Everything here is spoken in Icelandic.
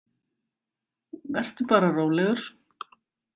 Vertu bara rólegur.